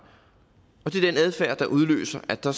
og der udløser at der